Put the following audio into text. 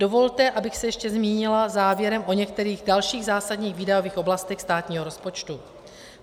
Dovolte, abych se ještě zmínila závěrem o některých dalších zásadních výdajových oblastech státního rozpočtu.